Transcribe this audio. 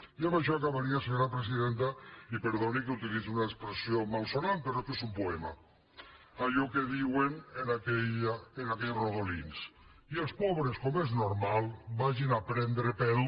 i amb això acabaria senyora presidenta i perdoni que utilitzi una expressió malsonant però és que és un poema allò que diuen en aquells rodolins i els pobres com és normal vagin a prendre pel